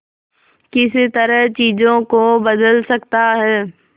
किस तरह चीजों को बदल सकता है